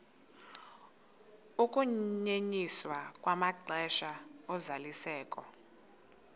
ukunyenyiswa kwamaxesha ozalisekiso